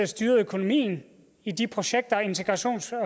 styrede økonomien i de projekter integrations